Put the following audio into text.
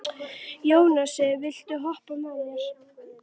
Jónsi, viltu hoppa með mér?